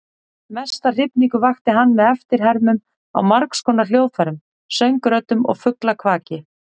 Mesta hrifningu vakti hann með eftirhermum á margskonar hljóðfærum, söngröddum og fuglakvaki.